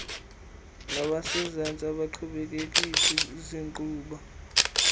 nabasezantsi abaqhubekekisi zinkqubo